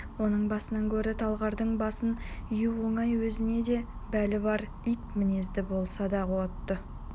оның басынан гөрі талғардың басын ию оңай өзінен де бәле бар ит мінезді болса да аты